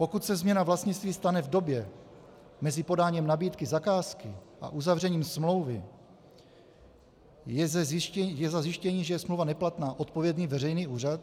Pokud se změna vlastnictví stane v době mezi podáním nabídky zakázky a uzavřením smlouvy, je za zjištění, že je smlouva neplatná, odpovědný veřejný úřad?